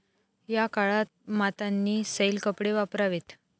या काळात मातांनी सैल कपडे वापरावेत.